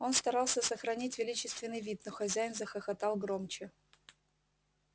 он старался сохранить величественный вид но хозяин захохотал громче